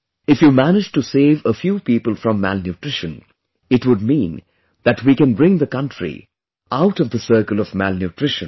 If you manage to save a few people from malnutrition, it would mean that we can bring the country out of the circle of malnutrition